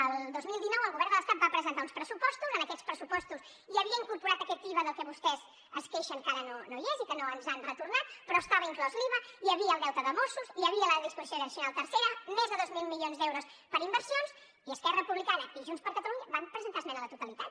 el dos mil dinou el govern de l’estat va presentar uns pressupostos en aquests pressupostos hi havia incorporat aquest iva del que vostès es queixen que ara no hi és i que no ens han retornat però estava inclòs l’iva hi havia el deute de mossos hi havia la disposició addicional tercera més de dos mil milions d’euros per inversions i esquerra republicana i junts per catalunya van presentar esmena a la totalitat